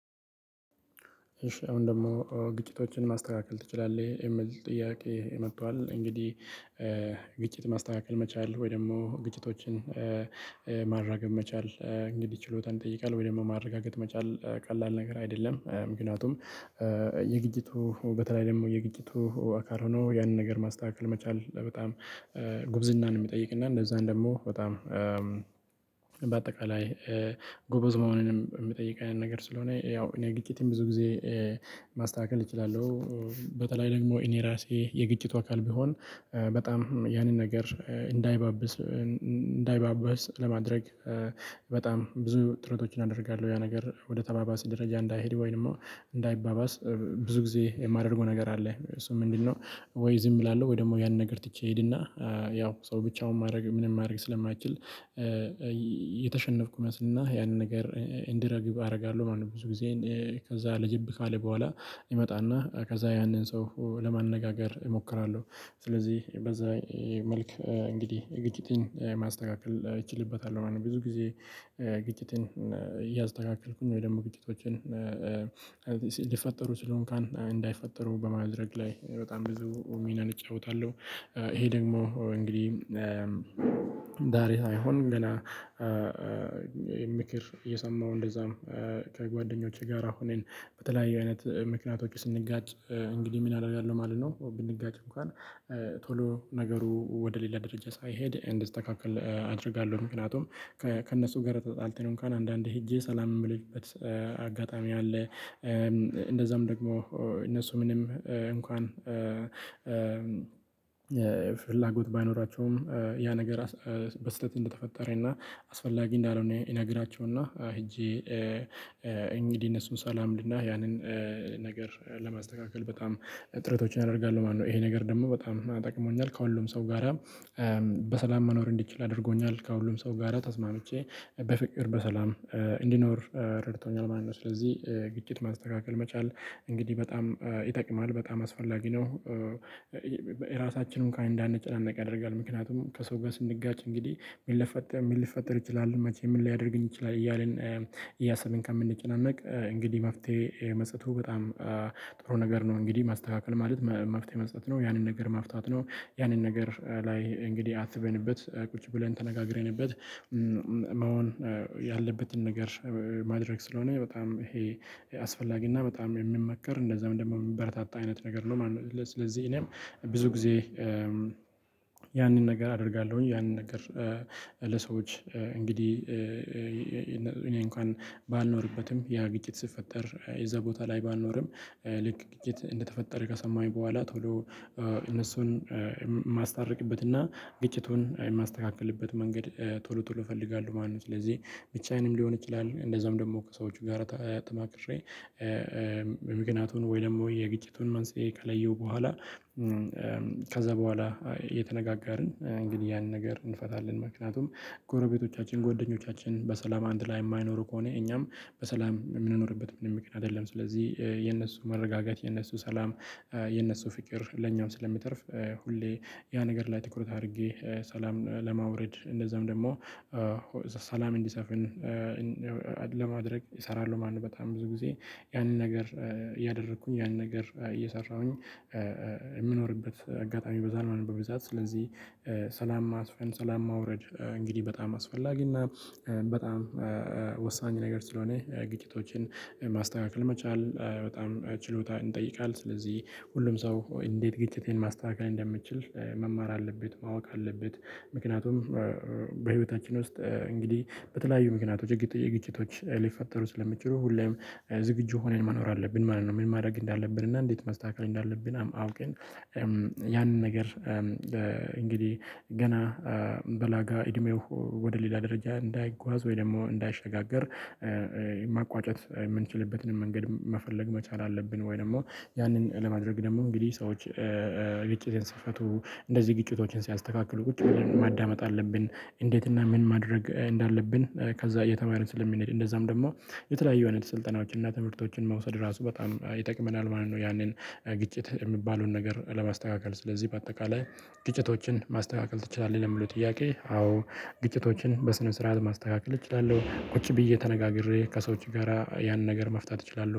እሺ አሁን ደግሞ "ግጭቶችን ማስተካከል ትችላለህ?" የሚል ጥያቄ መጥቷል እንግዲህ ግጭት ማስተካከል መቻል ወይ ደግሞ ግጭቶችን ማራገብ መቻል እንግዲህ ችሎታን ይጠይቃል ወይ ደግሞ ማረጋገጥ መቻል ቀላል ነገር አይደለም። ምክንያቱም የግጭቱ በተለይ ደግሞ የግጭቱ አካል ሆኖ ያንን ነገር ማስተካከል መቻል በጣም ጉብዝናን የሚጠይቅና እነዛን ደግሞ በጣም በአጠቃላይ ጎበዝ መሆንንም የሚጠይቀን ነገር ስለሆነ ያው እኔ ግጭትን ብዙ ጊዜ ማስተካከል እችላለሁ። በተለይ ደግሞ እኔ ራሴ የግጭቱ አካል ብሆን በጣም ያንን ነገር እንዳይባብስ እንዳይባባስ ለማድረግ በጣም ብዙ ጥረቶችን አደርጋለሁ ያ ነገር ወደ ተባባስ ደረጃ እንዳይሄድ ወይ ደግሞ እንዳይባባስ ብዙ ጊዜ የማደርገው ነገር አለ። እሱም ምንድነው ወይ ዝም እላለሁ ወይ ደግሞ ያንን ነገር ትቼ እሄድና ያው ሰው ብቻውን ማድረግ ምንም ማድረግ ስለማይችል የተሸነፍኩ እመስልና እና ያንን ነገር እንዲረግብ አደርጋለሁ ማለት ነው። ብዙ ጊዜዬን ከዛ ረገብ ካለ በኋላ ይመጣና ከዛ ያንን ሰው ለማነጋገር እሞክራለሁ። ስለዚህ በዛ መልክ እንግዲህ የግጭትን ማስተካከል እችልበታለሁ ማለት ነው። ብዙ ጊዜ ግጭትን እያስተካከልኩኝ ወይ ደግሞ ግጭቶችን ሊፈጠሩ ስሲ እንኳን እንዳይፈጠሩ በማድረግ ላይ በጣም ብዙ ሚናን እጫወታለሁ። ይሄ ደግሞ እንግዲህ ዳሬ ሳይሆን ገና ምክር እየሰማሁ እንደዛም ከጓደኞቼ ጋራ ሁነን በተለያየ አይነት ምክንያቶች ስንጋጭ እንግዲህ ምን አደርጋለሁ ማለት ነው ብንጋጭ እንኳን ቶሎ ነገሩ ወደ ሌላ ደረጃ ሳይሄድ እንዲስተካከል አድርጋለሁ። ምክንያቱም ከእነሱ ጋር ተጣልተን እንኳን አንዳንዴ ሄጄ ሰላም የምልበት አጋጣሚ አለ። እንደዛም ደግሞ እነሱ ምንም እንኳን ፍላጎት ባይኖራቸውም ያ ነገር በስህተት እንደተፈጠረና አስፈላጊ እንዳልሆነ እነግራቸውና ሄጄ እንግዲህ እነሱን ሰላም እልና ያንን ነገር ለማስተካከል በጣም ጥረቶችን አደርጋለሁ ማለት ነው። ይሄ ነገር ደግሞ በጣም ጠቅሞኛል ከሁሉም ሰው ጋራ በሰላም መኖር እንድችል አድርጎኛል። ከሁሉም ሰው ጋራ ተስማምቼ በፍቅር በሰላም እንድኖር ረድቶኛል ማን ነው። ስለዚህ ግጭት ማስተካከል መቻል እንግዲህ በጣም ይጠቅማል በጣም አስፈላጊ ነው። ራሳችን እንኳን እንዳንጨናነቅ ያደርጋል ምክንያቱም ከሰው ጋር ስንጋጭ እንግዲህ ምን ሊፈጠር ምን ሊፈጠር ይችላል። መቼ ምን ሊያደርገኝ ይችላል እያልን እያሰብን ከምንጨናነቅ እንግዲህ መፍትሄ መስጠቱ በጣም ጥሩ ነገር ነው እንግዲህ ማስተካከል ማለት መፍትሄ መስጠት ነው ያንን ነገር መፍታት ነው ያንን ነገር ላይ እንግዲህ አስበንበት ቁጭ ብለን ተነጋግረንበት መሆን ያለበትን ነገር ማድረግ ስለሆነ በጣም ይሄ አስፈላጊ እና በጣም የሚመከር እንደዛውም ደግሞ የሚበረታታ አይነት ነገር ነው ማለት ነው። ለስ ስለዚህ እኔም ብዙ ጊዜ ያንን ነገር አደርጋለሁኝ ያንን ነገር ለሰዎች እንግዲህ እኔ እንኳን ባልኖርበትም ያ ግጭት ሲፈጠር የዛ ቦታ ላይ ባልኖርም ልክ ግጭት እንደተፈጠረ ከሰማሁኝ በኋላ ቶሎ እነሱን የማስታርቅበትና ግጭቱን የማስተካክልበት መንገድ ቶሎ ቶሎ እፈልጋለሁ ማለት ነው። ስለዚህ ብቻዬንም ሊሆን ይችላል እንደዛም ደግሞ ከሰዎቹ ጋራ ተማክሬ ምክንያቱን ወይ ደግሞ የግጭቱን መንስኤ ከለየሁ በኋላ ከዛ በኋላ እየተነጋጋርን እንግዲህ ያንን ነገር እንፈታለን። ምክንያቱም ጎረቤቶቻችን ጎደኞቻችን በሰላም አንድ ላይ የማይኖሩ ከሆነ እኛም በሰላም የምንኖርበት ምንም ምክንያት የለም። ስለዚህ የነሱ መረጋጋት የነሱ ሰላም የነሱ ፍቅር ለኛም ስለሚተርፍ ሁሌ ያ ነገር ላይ ትኩረት አድርጌ ሰላም ለማውረድ እንደዛውም ደግሞ ሰላም እንዲሰፍን ለማድረግ እሰራለሁ ማለት ነው በጣም ብዙ ጊዜ ያንን ነገር እያደረኩኝ ያንን ነገር እየሰራሁኝ የምኖርበት አጋጣሚ ይበዛል ማለት ነው በብዛት ስለዚህ ሰላም ማስፈን ሰላም ማውረድ እንግዲህ በጣም አስፈላጊና በጣም ወሳኝ ነገር ስለሆነ ግጭቶችን ማስተካከል መቻል በጣም ችሎታ ይጠይቃል። ስለዚህ ሁሉም ሰው እንዴት ግጭትን ማስተካከል እንደሚችል መማር አለበት ማወቅ አለበት ምክንያቱም በህይወታችን ውስጥ እንግዲህ በተለያዩ ምክንያቶች ግጭት ግጭቶች ሊፈጠሩ ስለሚችሉ ሁሌም ዝግጁ ሆነን መኖር አለብን ማለት ነው። ምን ማድረግ እንዳለብን እና እንዴት ማስተካከል እንዳለብን አውቅን ያንን ነገር እንግዲህ ገና በለጋ እድሜው ወደ ሌላ ደረጃ እንዳይጓዝ ወይ ደግሞ እንዳይሸጋግር መቋጨት የምንችልበትንም መንገድ መፈለግ መቻል አለብን ወይ ደግሞ ያንን ለማድረግ ደግሞ እንግዲህ ሰዎች ግጭትን ሲፈቱ እንደዚህ ግጭቶችን ሲያስተካክሉ ቁጭ ብለን ማዳመጥ አለብን። እንዴት እና ምን ማድረግ እንዳለብን ከዛ እየተማርን ስለምንሄድ እንደዛም ደግሞ የተለያዩ አይነት ስልጠናዎች እና ትምህርቶችን መውሰድ ራሱ በጣም ይጠቅመናል ማለት ነው። ያንን ግጭት የሚባለውን ነገር ለማስተካከል ስለዚህ በአጠቃላይ "ግጭቶችን ማስተካከል ትችላለህ?" ለሚለው ጥያቄ አዎ ግጭቶችን በስነ ስርዓት ማስተካከል እችላለሁ። ቁጭ ብዬ ተነጋግሬ ከሰዎች ጋራ ያንን ነገር መፍታት እችላለሁ።